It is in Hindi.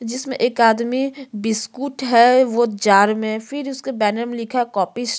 जिसमे एक आदमी बिस्कुट है वो जार में फिर उसके बैनर में लिखा है कॉफी स--